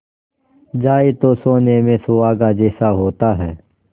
जाए तो सोने में सुहागा जैसा होता है